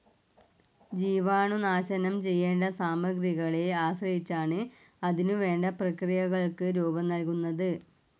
ജീവാണുനാശനം ചെയ്യേണ്ട സാമഗ്രികളെ ആശ്രയിച്ചാണ് അതിനുവേണ്ട പ്രക്രിയകൾക്ക് രൂപം നൽകുന്നത്.